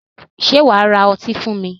Sé wà á ra ọtí fún mi?